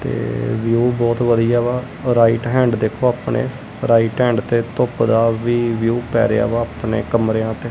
ਤੇ ਵਿਊ ਬਹੁਤ ਵਧੀਆ ਵਾ ਰਾਈਟ ਹੈਂਡ ਦੇਖੋ ਆਪਣੇ ਰਾਈਟ ਹੈਂਡ ਤੇ ਧੁੱਪ ਦਾ ਵੀ ਵਿਊ ਪੈ ਰਿਹਾ ਵਾ ਅਪਣੇ ਕਮਰਿਆਂ ਤੇ।